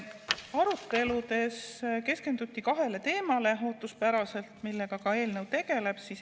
Aruteludes keskenduti ootuspäraselt kahele teemale, millega eelnõu ka tegeleb.